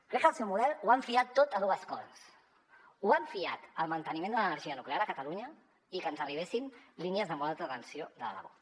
crec que en el seu model ho han fiat tot a dues coses ho han fiat al manteniment de l’energia nuclear a catalunya i a que ens arribessin línies de molt alta tensió de l’aragó